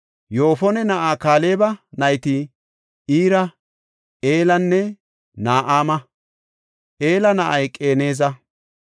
Yoofone na7aa Kaaleba nayti Ira, Eelanne Na7aama. Ela na7ay Qeneza.